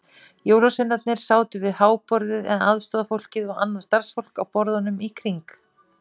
Jólasveinarnir sátu við háborðið en aðstorðafólkið og annað starfsfólk á borðunum í kring.